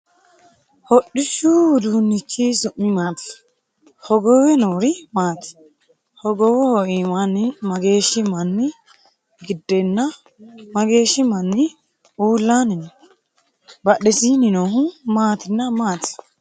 Hodhishu uduunnichi su'mi maati? Hogowe noori maati? Hogowoho iimaanni mageeshi manni gidenna mageeshi manni uulaanni no? Badhesiinni noohu maatinna maati?